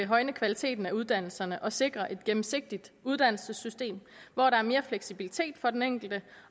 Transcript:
højne kvaliteten af uddannelserne og sikre et gennemsigtigt uddannelsessystem hvor der er mere fleksibilitet for den enkelte